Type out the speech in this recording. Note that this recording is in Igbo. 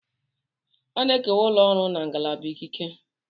A na-ekewa ụlọ ọrụ na ngalaba ikike.